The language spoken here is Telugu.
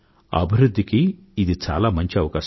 అభివృధ్ధికి ఇది చాలా మంచి అవకాశం